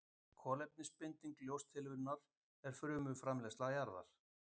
Kolefnisbinding ljóstillífunar er frumframleiðsla jarðar.